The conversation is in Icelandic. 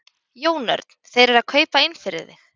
Jón Örn: Þeir eru að kaupa inn fyrir þig?